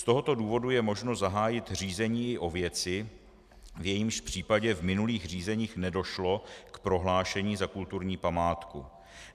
Z tohoto důvodu je možné zahájit řízení o věci, v jejímž případě v minulých řízeních nedošlo k prohlášení za kulturní památku.